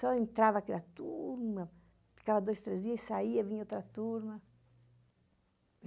Só entrava aquela turma, ficava dois, três dias e saía, vinha outra turma.